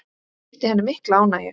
Það veitti henni mikla ánægju.